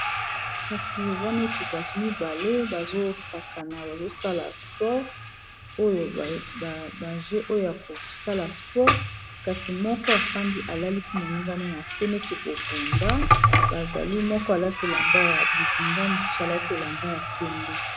Kasi eza neti bato mibale bazo sakana bazosala sport oyo ba jeux oyo ya kosala sport kasi moko afandi alalisi moninga na se neti babunda moko alati elamba ya bozinga mosusu elamba ya pembe.